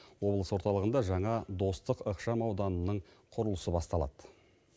облыс орталығында жаңа достық ықшам ауданының құрылысы басталады